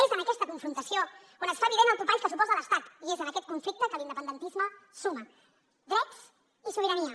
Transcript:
és en aquesta confrontació on es fa evident el topall que suposa l’estat i és en aquest conflicte que l’independentisme suma drets i sobirania